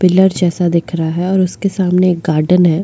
Pillar जैसा दिख रहा है और उसके सामने एक गार्डन है।